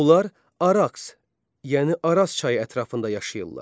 Onlar Araks, yəni Araz çayı ətrafında yaşayırdılar.